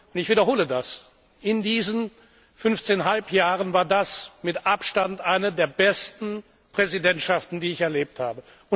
Ich wiederhole das In diesen fünfzehn Halbjahren war das mit Abstand eine der besten Präsidentschaften, die ich erlebt habe.